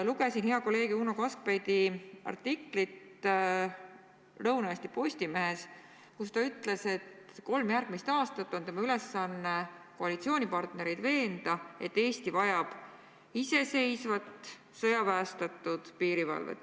Lugesin hea kolleegi Uno Kaskpeiti artiklit Lõuna-Eesti Postimehes, kus ta ütles, et kolm järgmist aastat on tema ülesanne koalitsioonipartnereid veenda, et Eesti vajab iseseisvat sõjaväestatud piirivalvet.